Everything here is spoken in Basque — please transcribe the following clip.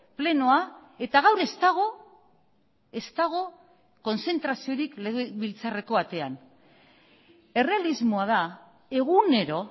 plenoa eta gaur ez dago ez dago kontzentraziorik legebiltzarreko atean errealismoa da egunero